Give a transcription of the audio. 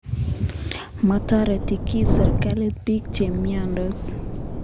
Matoreti kiy sirikalit piik che miandos